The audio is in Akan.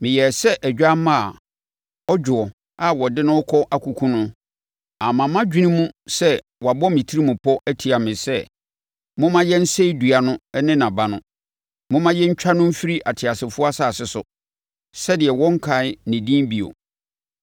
Meyɛɛ sɛ odwammaa a ɔdwoɔ a wɔde no rekɔ akɔkum no; amma mʼadwene mu sɛ wɔabɔ wɔn tirim po atia me sɛ, “Momma yɛnsɛe dua no ne nʼaba no; momma yɛntwa no mfiri ateasefoɔ asase so, sɛdeɛ wɔnnkae ne din bio.”